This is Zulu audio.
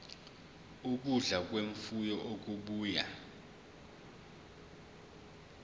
ukudla kwemfuyo okubuya